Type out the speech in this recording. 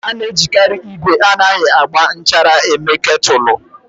A na-ejikarị igwe anaghị agba nchara mee Kètụlụ.